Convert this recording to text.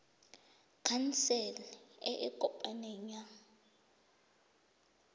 khansele e e kopaneng ya